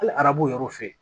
Hali arabu yɔrɔw fɛ